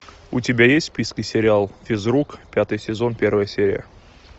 у тебя есть в списке сериал физрук пятый сезон первая серия